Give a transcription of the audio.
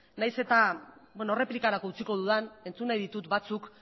nahiz eta erreplikarako utziko dudan entzun nahi ditut batzuk